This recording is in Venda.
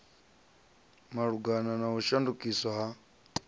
malugana na u shandukiswa ha